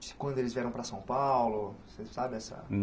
Quando eles vieram para São Paulo? Você sabe essa